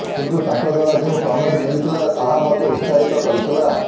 କିନ୍ତୁ ତାଙ୍କ ଦ୍ୱାରା ଯେଉଁ କମେଣ୍ଟ ମିଳିଥିଲା ତାହା ମୋତେ ଉତ୍ସାହିତ କରିଥିଲା